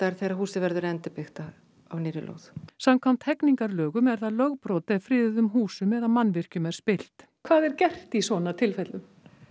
þegar húsið verður endubyggt á nýrri lóð samkvæmt hegningarlögum er það lögbrot ef friðuðum húsum eða mannvirkjum er spillt hvað er gert í svona tilfellum